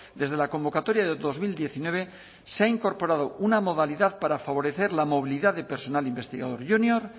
desde la convocatoria de dos mil diecinueve se ha incorporado una modalidad para favorecer la movilidad de personal investigador junior